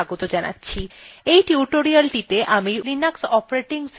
এই টিউটোরিয়ালটিতে আমি linux operating system ব্যবহার করছি